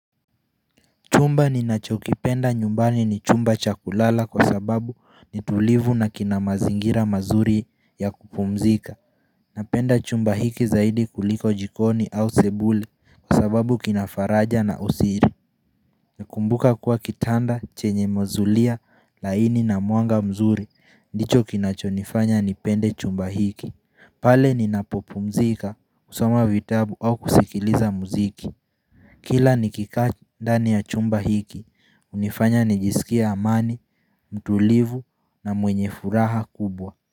Chumba ni nacho kipenda nyumbani ni chumba cha kulala kwa sababu ni tulivu na kina mazingira mazuri ya kupumzika. Napenda chumba hiki zaidi kuliko jikoni au sebule kwa sababu kinafaraja na usiri. Nakumbuka kuwa kitanda, chenye mazulia, laini na muanga mzuri. Ndicho kinacho nifanya ni pende chumba hiki. Pale ni napopumzika, usama vitabu au kusikiliza muziki. Kila nikikaa ndani ya chumba hiki, unifanya nijisikia amani, mtulivu na mwenye furaha kubwa.